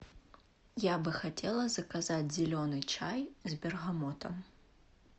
я бы хотела заказать зеленый чай с бергамотом